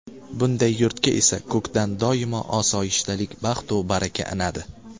Bunday yurtga esa ko‘kdan doimo osoyishtalik, baxtu baraka inadi.